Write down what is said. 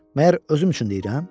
Məyər özüm üçün deyirəm?